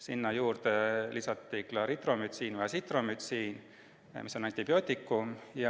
Sinna juurde lisati Clarithromycini või Azithromycini, mis on antibiootikumid.